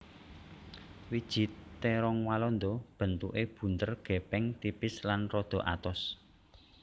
Wiji térong walanda bentuké bunder gèpèng tipis lan rada atos